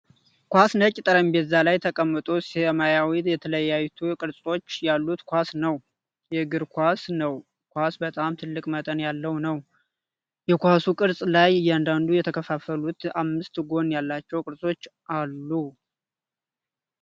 ኳስ ነጭ ጠረጴዛ ላይ ተቀምጦ ሰማያዊ ተለያዩ ቅርጾች ያሉት ኳስ ነው። የእግር ኳስ ነው። ኳሱ በጣም ትልቅ መጠን ያለው ነው ። የኳሱ ቅርጽ ላይ እያንዳንዱ የተከፋፈሉት አምስት ጎን ያላቸው ቅርሶች አሉት።